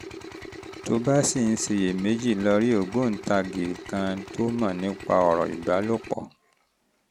tó o bá ṣì ń ṣiyèméjì lọ rí ògbóǹtagì kan tó mọ̀ nípa ọ̀rọ̀ ìbálòpọ̀